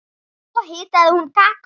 Svo hitaði hún kakó.